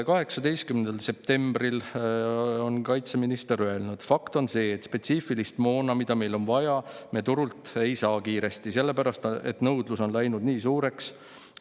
18. septembril ütles kaitseminister: "Fakt on see, et spetsiifilist moona, mida meil on vaja, me turult ei saa kiiremini, sellepärast et nõudlus on läinud nii suureks.